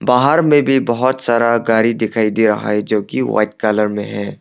बाहर में भी बहुत सारा गारी दिखाई दे रहा है जो की वाइट कलर में है।